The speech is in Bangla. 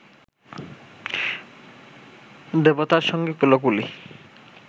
দেবতার সঙ্গে কোলাকুলি